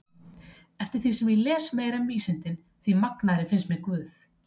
Eftir því sem ég les meira um vísindin því magnaðri finnst mér guð.